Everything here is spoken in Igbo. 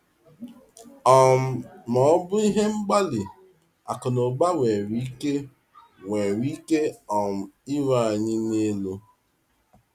um Ma ọ bụ ihe mgbali akụnaụba nwere ike nwere ike um iru anyị n’elu.